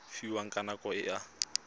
fiwang ka nako e a